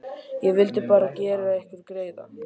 Ég vildi bara gera ykkur greiða.